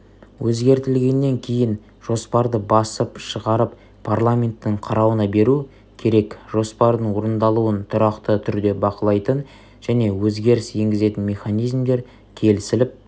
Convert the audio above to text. өзгертілгеннен кейін жоспарды басып шығарып парламенттің қарауына беру керек жоспардың орындалуын тұрақты түрде бақылайтын және өзгеріс енгізетін механизмдер келісіліп